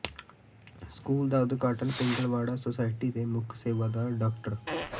school ਦਾ ਉਦਘਾਟਨ Pingalwara society ਦੇ ਮੁੱਖ ਸੇਵਾਦਾਰ ਡਾ